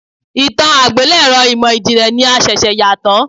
Ìtàn àgbélẹ̀rọ ìmò ìjìnlẹ̀ ni a ṣẹ̀ṣẹ̀ yà tán.